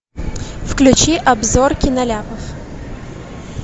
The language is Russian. включи обзор киноляпов